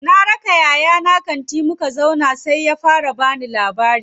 Na raka yayana kanti, muka zauna sai ya fara bani labari.